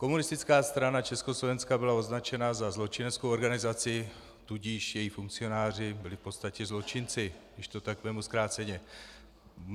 Komunistická strana Československa byla označena za zločineckou organizaci, tudíž její funkcionáři byli v podstatě zločinci, když to tak vezmu zkráceně.